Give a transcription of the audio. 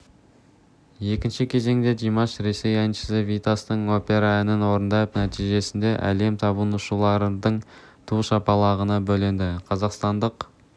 екінші кезеңде димаш ресей әншісі витастың опера әнін орындап нәтижесінде әлем табынушыларының ду шапалағына бөленді қазақстандық